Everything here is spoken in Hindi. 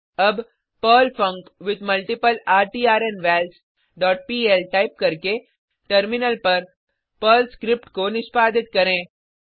अब Perl func with multiple return vals dot P L type करके टर्मिनल पर पर्ल स्क्रिप्ट को निष्पादित करें